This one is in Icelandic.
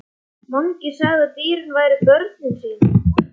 Mangi sagði að dýrin væru börnin sín.